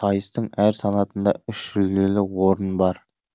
сайыстың әр санатында үш жүлделі орын бар